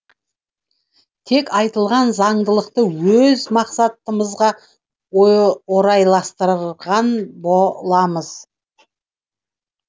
тек айтылған заңдылықты өз мақсатымызға орайластырған боамыз